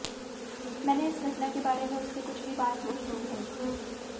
मैंने इस घटना के बारे में उससे कुछ भी बात नहीं की है